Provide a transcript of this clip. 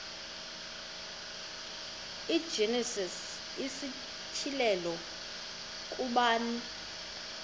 igenesis isityhilelo ngubani